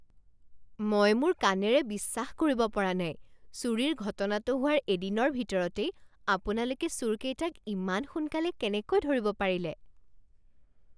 মই মোৰ কাণেৰে বিশ্বাস কৰিব পৰা নাই। চুৰিৰ ঘটনাটো হোৱাৰ এদিনৰ ভিতৰতেই আপোনালোকে চোৰকেইটাক ইমান সোনকালে কেনেকৈ ধৰিব পাৰিলে?